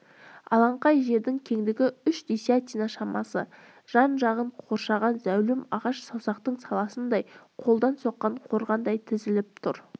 алаңқай жердің кеңдігі үш десятина шамасы жан-жағын қоршаған зәулім ағаш саусақтың саласындай қолдан соққан қорғандай тізіліп тұр